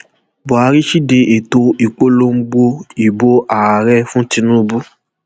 buhari side ètò ìpolongo ìbò ààrẹ fún tinubu